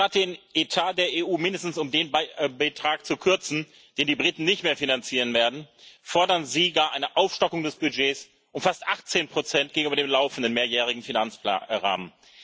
Anstatt den Etat der EU mindestens um den Betrag zu kürzen, den die Briten nicht mehr finanzieren werden, fordern Sie gar eine Aufstockung des Budgets um fast 18 gegenüber dem laufenden mehrjährigen Finanzrahmen.